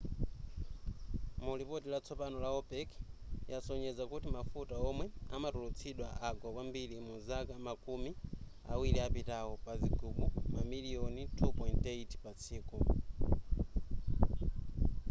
mulipoti latsopano la opec yasonyeza kuti mafuta womwe amatulutsidwa agwa kwambiri mudzaka makumi awiri apitawo pa zigubu mamiliyoni 2.8 patsiku